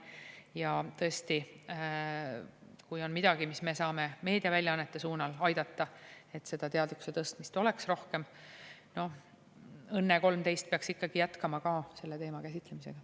Ja tõesti, kui on midagi, mis me saame meediaväljaannete suunal aidata, et seda teadlikkuse tõstmist oleks rohkem … "Õnne 13" peaks ikkagi jätkama ka selle teema käsitlemist.